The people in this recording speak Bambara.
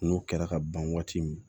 N'o kɛra ka ban waati min